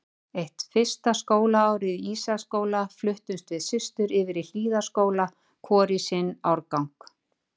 Eftir fyrsta skólaárið í Ísaksskóla fluttumst við systur yfir í Hlíðaskóla, hvor í sinn árgang.